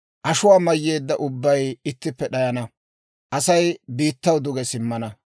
ashuwaa mayyeedda ubbay ittippe d'ayana; Asay biittaw duge simmana.